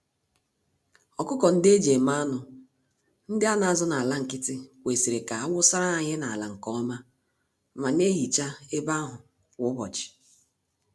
Ọkụkọ-ndị-eji-eme-anụ, ndị anazụ n'ala nkịtị, (deep liter system) kwesịrị ka awusara ha ihe n'ala nke ọma ma nehicha ebe ahụ kwa ụbọchị.